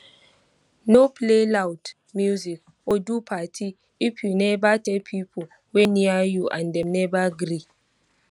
no play loud music or do party if you never tell pipo wey near you and dem never gree